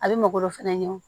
A bɛ mɔgɔ dɔ fɛnɛ ɲɛ o